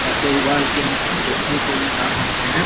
टासे उबाल के हम चटनी से भी खा सकते हैं।